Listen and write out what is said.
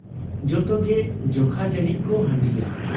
ᱡᱚᱛᱚᱜᱮ ᱡᱚᱠᱷᱟ ᱡᱟᱹᱱᱤᱡ ᱠᱚ ᱦᱟᱺᱰᱤᱭᱟ ᱾